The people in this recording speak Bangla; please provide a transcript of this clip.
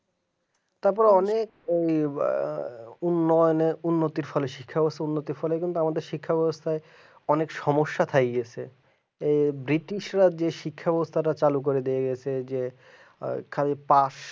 তারপরে অনেক এইবা উন্নয়নের উন্নতির ফলে উন্নতির ফলে তো আমাদের শিখায় গেছে অনেক সমস্যা থাকে গেছে এই ব্রিটিশরা যে শিক্ষা ব্যবস্থার ব্যবসাটা চালক করে দেবো বলছিল যে ওয়াইফাই পাস